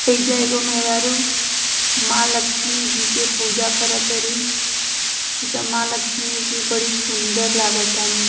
ऐजा एगो मेहरारू माँ लक्ष्मी जी की पूजा करत ताड़ी एजा माँ लक्ष्मी बड़ी सुन्दर लागतानी।